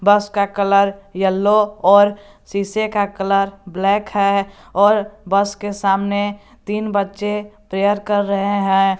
बस का colour yellow और शीशे का कलर ब्लैक है और बस के सामने तीन बच्चे प्रेयर कर रहे हैं।